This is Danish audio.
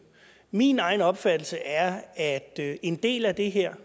min egen opfattelse er at en del af det her